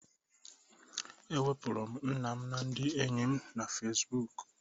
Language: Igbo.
Ewepuru m nna m na ndị enyi m na Fesibuuku.